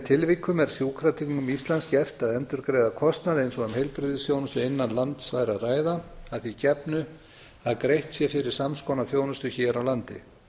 tilvikum er sjúkratryggingum íslands gert að endurgreiða kostnað eins og um heilbrigðisþjónustu innan lands væri að ræða að því gefnu að greitt sé fyrir sams konar þjónustu hér á landi